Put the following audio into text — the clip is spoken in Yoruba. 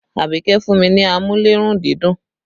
Abike fún mi ní amúlé-run-dídùn